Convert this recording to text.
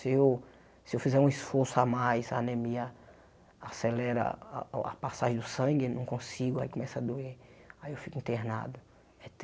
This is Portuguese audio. Se eu se eu fizer um esforço a mais, a anemia acelera a o a passagem do sangue, não consigo, aí começa a doer, aí eu fico internado.